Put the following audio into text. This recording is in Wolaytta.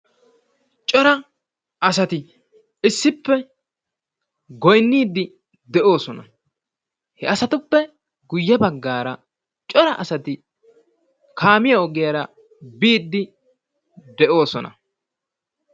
cora asati issippe goynniidi de'oosona. He asatuppe guyye baggaara cora asatti kaamiyaa ogiyaara biidi de'oosona.